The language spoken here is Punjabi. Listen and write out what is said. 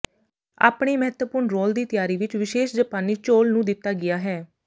ਆਪਣੇ ਮਹੱਤਵਪੂਰਨ ਰੋਲ ਦੀ ਤਿਆਰੀ ਵਿਚ ਵਿਸ਼ੇਸ਼ ਜਪਾਨੀ ਚੌਲ ਨੂੰ ਦਿੱਤਾ ਗਿਆ ਹੈ